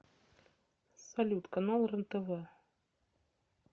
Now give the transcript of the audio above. салют канал рен тв